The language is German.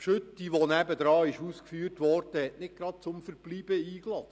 Die Gülle, die nebenan ausgeführt wurde, lud nicht gerade zum Verweilen ein.